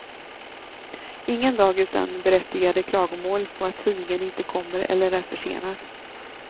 Ingen dag utan berättigade klagomål på att tidningen inte kommer eller är försenad.